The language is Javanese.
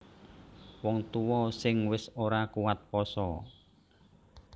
Wong tuwa sing wis ora kuwat pasa